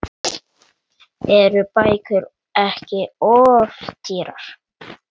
Eru bækur ekki of dýrar?